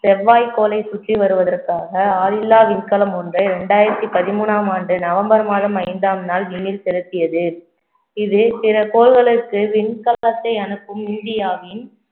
செவ்வாய் கோளை சுற்றி வருவதற்காக ஆளில்லா விண்கலம் ஒன்று, இரண்டாயிரத்தி பதிமூனாம் ஆண்டு நவம்பர் மாதம் ஐந்தாம் நாள் விண்ணில் செலுத்தியது இது பிற கோள்களுக்கு விண்கலத்தை அனுப்பும் இந்தியாவின்